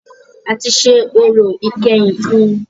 A tí ṣe orò ìkẹyìn fún ùn